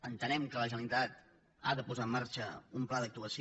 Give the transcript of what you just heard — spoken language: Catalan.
entenem que la generalitat ha de posar en marxa un pla d’actuació